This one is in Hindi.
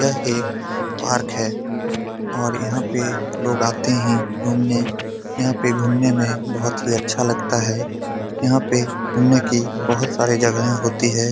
यह एक पार्क है और यहाँ पे लोग आते हैं घुमने यहाँ पे घुमने में बहुत ही अच्छा लगता है यहाँ पे घुमने कि बहुत सारी जगाहें होती है ।